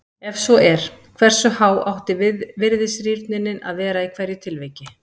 Ef svo er, hversu há átti virðisrýrnunin að vera í hverju tilviki?